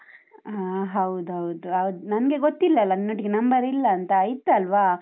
ಹಾ ಹೌದೌದ್, ಅದ್ ನನ್ಗೆ ಗೊತ್ತಿಲ್ಲಲ ನಿನ್ನೊಟ್ಟಿಗೆ number ಇಲ್ಲಂತ, ಇತ್ತಲ್ವ?